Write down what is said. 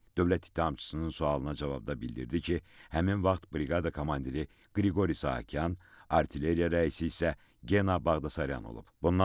Dövlət ittihamçısının sualına cavabda bildirdi ki, həmin vaxt briqada komandiri Qriqori Sahakyan, artilleriya rəisi isə Gena Baqdasaryan olub.